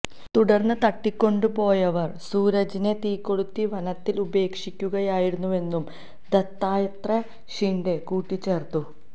തുടര്ന്ന് തട്ടിക്കൊണ്ടുപോയവര് സൂരജിനെ തീകൊളുത്തി വനത്തില് ഉപേക്ഷിക്കുകയായിരുന്നുവെന്നും ദത്താത്രേയ ഷിന്ഡേ കൂട്ടിച്ചേര്ത്തു